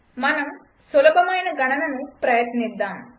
మనం సులభమైన గణనను ప్రయత్నిద్దాం